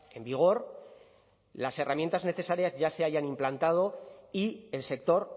en vigor las herramientas necesarias ya se hayan implantado y el sector